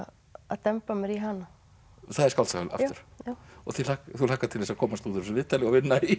demba mér í hana það er skáldsaga aftur já þú þú hlakkar til þess að komast úr þessu viðtali og vinna í